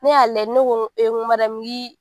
Ne y'a lajɛ ne ko n ko n ko Mariyamu n k'i